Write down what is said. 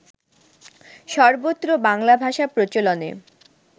সর্বত্র বাংলাভাষা প্রচলনে